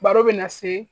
Baro bɛ na se